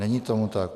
Není tomu tak.